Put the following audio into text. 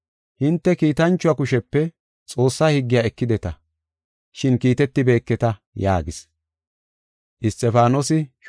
Hinte kiitanchuwa kushepe Xoossa higgiya ekideta, shin kiitetibeketa” yaagis.